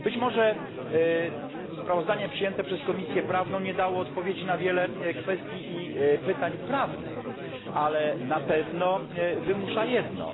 Być może sprawozdanie przyjęte przez Komisję Prawną nie dało odpowiedzi na wiele kwestii i pytań prawnych, ale na pewno wymusza jedno.